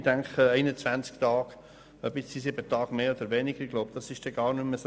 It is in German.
Ob die Dauer um sieben Tage verlängert wird oder nicht, ist gar nicht so wichtig.